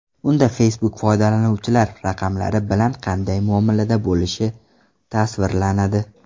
Unda Facebook foydalanuvchilar raqamlari bilan qanday muomalada bo‘lishi tasvirlanadi.